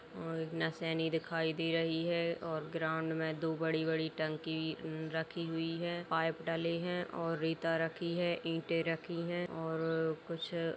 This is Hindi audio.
और दिखाई दे रही है और ग्रांउड मे दो बड़ी-बड़ी टंकी न्रखी हुई है। पाएप डले हैं और रेता रखी है। ईटे रखीं हैं और कुछ --